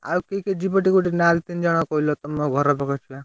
ଆଉ କିଏ କିଏ ଯିବ? ଟିକେ ଗୋଟେ ନା ତିନ ଜଣ କହିଲ ତମ ଘର ପାଖ ପିଲା?